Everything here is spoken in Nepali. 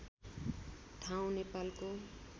ठाउँ नेपालको